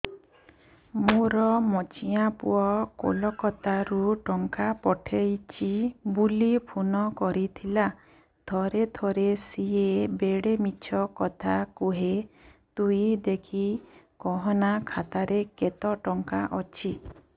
ମୋର ମଝିଆ ପୁଅ କୋଲକତା ରୁ ଟଙ୍କା ପଠେଇଚି ବୁଲି ଫୁନ କରିଥିଲା ଥରେ ଥରେ ସିଏ ବେଡେ ମିଛ କଥା କୁହେ ତୁଇ ଦେଖିକି କହନା ଖାତାରେ କେତ ଟଙ୍କା ଅଛି